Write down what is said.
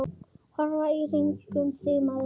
Horfðu í kringum þig, maður.